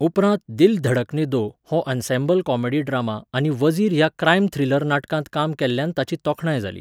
उपरांत 'दिल धडकने दो' हो ensemble comedy drama आनी 'वझीर' ह्या क्रायम थ्रिलर नाटकांत काम केल्ल्यान ताची तोखणाय जाली.